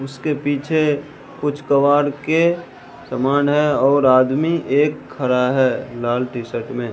उसके पीछे कुछ कवाड़ के समान है और आदमी एक खड़ा है लाल टी शर्ट में।